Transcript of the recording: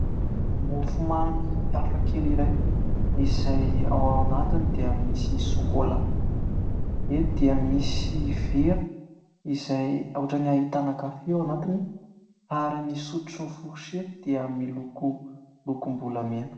Mofomamy hafakely iray izay ao anatiny dia misy sôkôla. Eto dia misy vera izay ohatran'ny ahitana kafe ao anatiny ary ny sotro, forsety dia miloko lokombolamena.